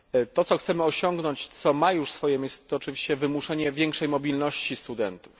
To, co chcemy osiągnąć, co ma już swoje miejsce, to oczywiście wymuszenie większej mobilności studentów.